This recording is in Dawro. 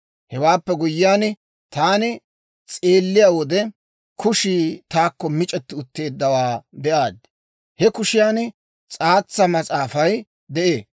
Hewaappe guyyiyaan, taani s'eelliyaa wode, kushii taakko mic'eti utteeddawaa be'aad; he kushiyan s'aatsa mas'aafay de'ee.